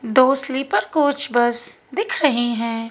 दो sleeper coach bus दिख रही है।